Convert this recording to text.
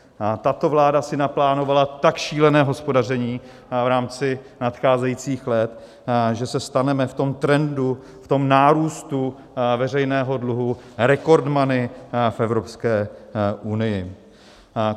Tato vláda si naplánovala tak šílené hospodaření v rámci nadcházejících let, že se staneme v tom trendu, v tom nárůstu veřejného dluhu, rekordmany v Evropské unii.